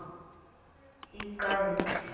Góður í gegn.